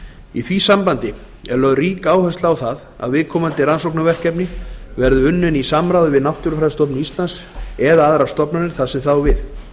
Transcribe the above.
í því sambandi er lögð rík áhersla á það að viðkomandi rannsóknarverkefni verði unnin í samráði við náttúrufræðistofnun íslands eða aðrar stofnanir þar sem það á við